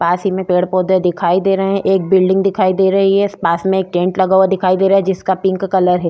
पास ही में पेड़-पौधे दिखाई दे रहे हैं एक बिल्डिंग दिखाई दे रही है पास में एक टेंट लगा हुआ दिखाई दे रहा है जिसका पिंक कलर है --